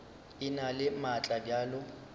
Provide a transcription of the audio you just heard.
e na le maatla bjalo